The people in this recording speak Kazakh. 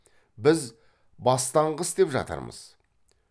біз бастаңғы істеп жатырмыз